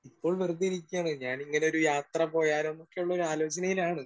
Speaker 1 ഇപ്പോൾ വെറുതെ ഇരിക്കാണ്. ഞാൻ ഇങ്ങനെ ഒരു യാത്ര പോയാലോ എന്നൊക്കെ ഉള്ള ഒരു ആലോചനയിലാണ്.